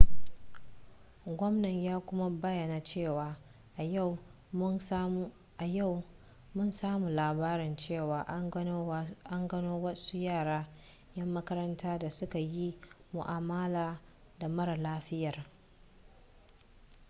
gwamnan ya kuma bayyana cewa a yau mun samu labarin cewa an gano wasu yara 'yan makaranta da suka yi mu'amala da mara lafiyar